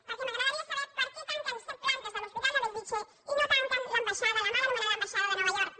perquè m’agradaria saber per què tanquen set plantes de l’hospital de bellvitge i no tanquen l’ambaixada la mal anomenada ambaixada de nova york